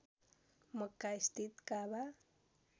मक्का स्थित काबा